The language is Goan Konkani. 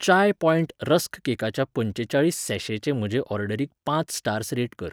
चाय पॉयंट रस्क केकाच्या पंचेचाळीस सॅशेचे म्हजे ऑर्डरीक पांच स्टार्स रेट कर.